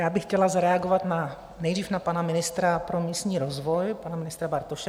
Já bych chtěla zareagovat nejdřív na pana ministra pro místní rozvoj, pana ministra Bartoše.